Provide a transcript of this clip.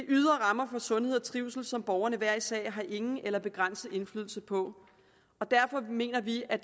ydre rammer for sundhed og trivsel som borgerne hver især har ingen eller en begrænset indflydelse på derfor mener vi at